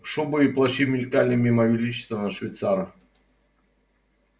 шубы и плащи мелькали мимо величественного швейцара